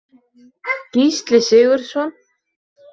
Gísli Sigurðsson.